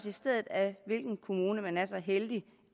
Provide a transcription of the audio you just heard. i stedet af hvilken kommune man er så heldig